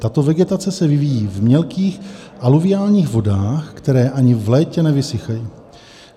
Tato vegetace se vyvíjí v mělkých aluviálních vodách, které ani v létě nevysychají.